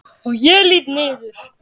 Og ég lýt niður.